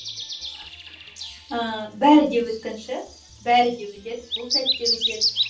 ыыы бәрі де өткінші бәрі де өтеді бұл сәт те өтеді